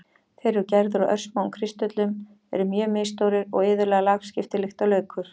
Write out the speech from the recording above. Þeir eru gerðir úr örsmáum kristöllum, eru mjög misstórir og iðulega lagskiptir líkt og laukur.